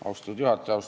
Austatud juhataja!